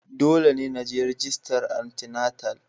Dole ne na je rajista antinatal